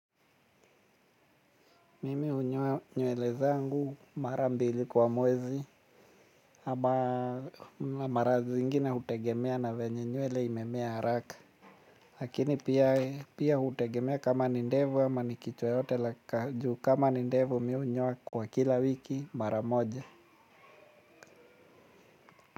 Mimi hunyoa nywele zangu mara mbili kwa mwezi. Ama mara zingina hutegemea na venye nywele imemea haraka. Lakini pia hutegemea kama ni ndevu ama ni kichwa yote kama ni ndevu mi hunyoa kwa kila wiki mara moja.